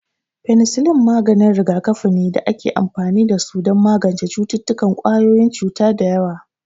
Fenisillin maganin rigakafi ne da ake amfani da su don magance cututtukan ƙwayoyin cuta da yawa